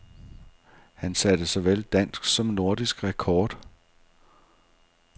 Han satte såvel dansk som nordisk rekord.